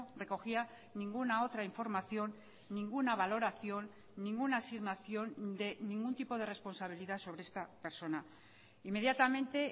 recogía ninguna otra información ninguna valoración ninguna asignación de ningún tipo de responsabilidad sobre esta persona inmediatamente